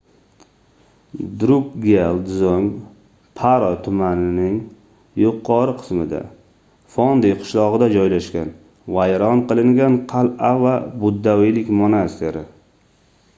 drukgyal dzong — paro tumanining yuqori qismida phondey qishlog'ida joylashgan vayron qilingan qal'a va buddaviylik monastiri